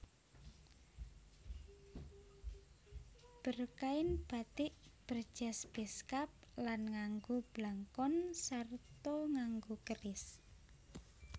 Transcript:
Berkain batik berjas beskap lan nganggo blangkon sarta nganggo keris